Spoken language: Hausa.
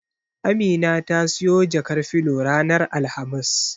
Amina ta siyo jakar filo ranar Alhamis.